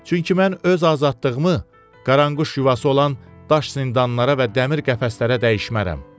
Çünki mən öz azadlığımı qaranquş yuvası olan daş zindanlara və dəmir qəfəslərə dəyişmərəm.